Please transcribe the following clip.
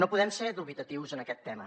no podem ser dubitatius en aquest tema